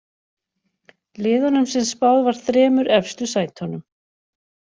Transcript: Liðunum sem spáð var þremur efstu sætunum.